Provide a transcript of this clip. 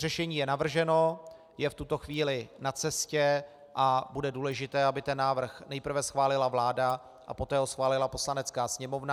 Řešení je navrženo, je v tuto chvíli na cestě, a bude důležité, aby ten návrh nejprve schválila vláda, a poté ho schválila Poslanecká sněmovna.